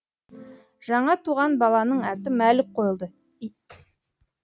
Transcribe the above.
жаңа туған баланың аты мәлік қойылды